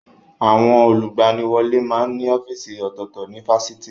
Àwọn olùgbaniwọlé máa ń ní ọ́fíìsì ọ̀tọ̀ọ̀tọ̀ ní Fáṣitì